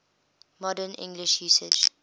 modern english usage